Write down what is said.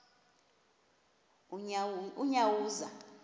unyawuza